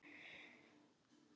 Standa sig.